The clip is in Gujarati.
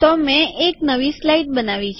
તો મેં એક નવી સ્લાઈડ બનાવી છે